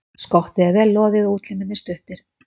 Skottið er vel loðið og útlimir stuttir.